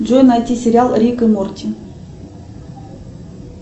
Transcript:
джой найти сериал рик и морти